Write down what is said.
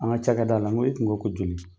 An ka cakɛda la n ko e tun ko ko joli.